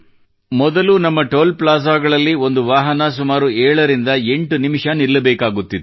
ಮೊದಲು ನಮ್ಮ ಟೋಲ್ ಪ್ಲಾಜಾಗಳಲ್ಲಿ ಒಂದು ವಾಹನ ಸುಮಾರು 7ರಿಂದ 8 ನಿಮಿಷ ನಿಲ್ಲಬೇಕಾಗುತ್ತಿತ್ತು